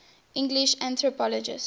english anthropologists